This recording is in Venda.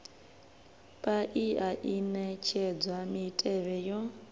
paia i netshedza mitevhe yo